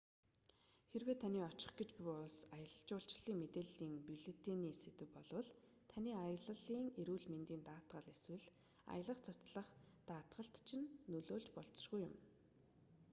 хэрэв таны очих гэж буй улс аялал жуулчлалын мэдээллийн бюллетений сэдэв болвол таны аяллын эрүүл мэндийн даатгал эсвэл аялах цуцлах даатгалд чинь нөлөөлж болзошгүй юм